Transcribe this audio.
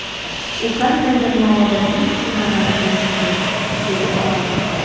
U qandaydir noodatiy ishni amalga oshirdi”, dedi olim.